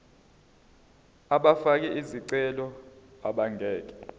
abafake izicelo abangeke